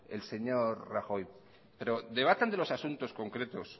el señor rajoy pero debatan de los asuntos concretos